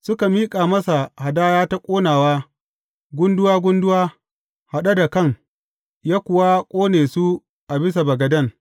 Suka miƙa masa hadaya ta ƙonawa gunduwa gunduwa, haɗe da kan, ya kuwa ƙone su a bisa bagaden.